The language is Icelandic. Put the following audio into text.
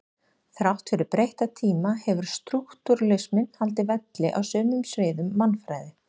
Þrátt fyrir breytta tíma hefur strúktúralisminn haldið velli á sumum sviðum mannfræði.